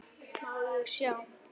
Má ég sjá?